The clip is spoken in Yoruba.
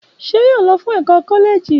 Ṣé yóò lọ fún ẹkọ kọlẹẹjì?